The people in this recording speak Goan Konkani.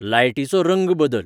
लायटीचो रंंग बदल